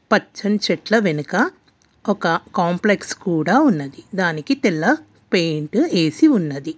పచ్చని చెట్ల వెనుక ఒక కాంప్లెక్స్ కూడా ఉన్నది దానికి తెల్ల పెయింట్ వేసి ఉన్నది.